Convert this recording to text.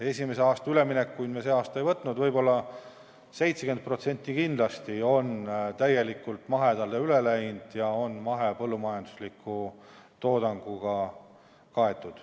Esimese aasta üleminekuid me see aasta ei võtnud, aga ma arvan, et 70% on kindlasti täielikult mahedale üle läinud ja mahepõllumajandusliku toodanguga kaetud.